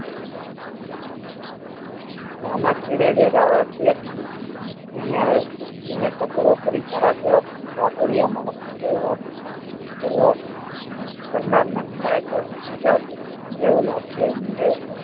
રામાછેડે વેરાવળ થી ટકોરો કરી તારા જેવા વાતોડિયા માણસ નેં કોઈ વાત કરવા કરનાર ને મળે તો જેવું લાગશે